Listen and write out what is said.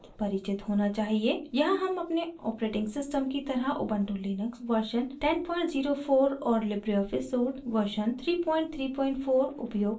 यहाँ हम अपने operating system की तरह ubuntu लिनक्स version 1004 और लिबरे ऑफिस suite version 334 उपयोग कर रहे हैं